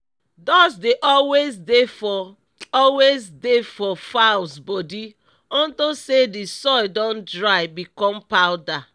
dust dey always dey for always dey for fowls body unto say d soil don dry become powder